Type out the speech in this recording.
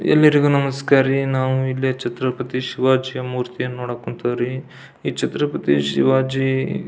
ಎಲ್ಲರಿಗೂ ನಮಸ್ಕಾರ ರೀ ನಾವು ಇಲ್ಲಿ ಛತ್ರಪತಿ ಶಿವಾಜಿಯ ಮೂರ್ತಿಯನ್ನು ನೋಡಕ್ ಹೊಂತೀವ್ರಿ ಈ ಛತ್ರಪತಿ ಶಿವಾಜಿ --